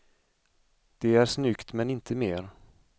Det är snyggt men inte mer.